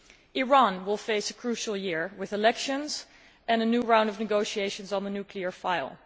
Iran is facing a crucial year with elections and a new round of negotiations on the nuclear file.